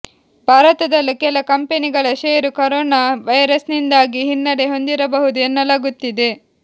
ಭಾರತದಲ್ಲೂ ಕೆಲ ಕಂಪನಿಗಳ ಷೇರು ಕೊರೊನಾ ವೈರಸ್ನಿಂದಾಗಿ ಹಿನ್ನಡೆ ಹೊಂದಿರಬಹುದು ಎನ್ನಲಾಗುತ್ತಿದೆ